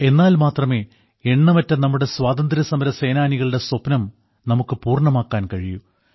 എന്നാൽ മാത്രമേ എണ്ണമറ്റ നമ്മുടെ സ്വാതന്ത്ര്യസമരസേനാനികളുടെ സ്വപ്നം നമുക്ക് പൂർണ്ണമാക്കാൻ കഴിയൂ